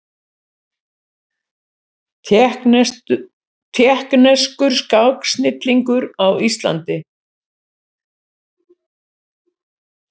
Tékkneskur skáksnillingur á Íslandi